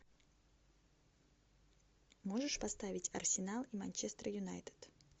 можешь поставить арсенал и манчестер юнайтед